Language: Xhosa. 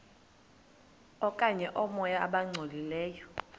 okanye oomoya abangcolileyo